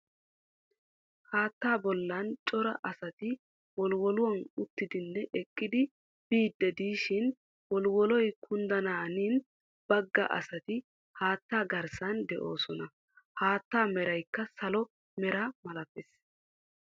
haatta bollan cara asati wolwolluwaa uttidine eqqidi biidi diishin wolwolloy kunddanaanin bagga asati haatta garssan de"oosona. haatta meraykka salo mera malatees.